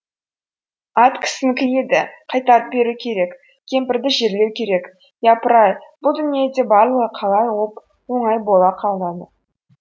ат кісінікі еді қайтарып беру керек кемпірді жерлеу керек япыр ай бұл дүниеде барлығы қалай оп оңай бола қалады